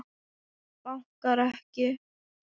Bankar ekki.